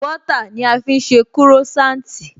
Bọ́ọ́tà ni a fi ń jẹ Croissant